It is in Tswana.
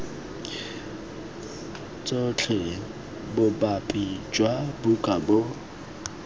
tshotse bopaki jwa buka bo